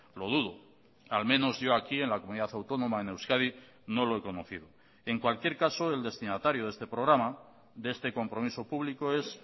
lo dudo al menos yo aquí en la comunidad autónoma en euskadi no lo he conocido en cualquier caso el destinatario de este programa de este compromiso público es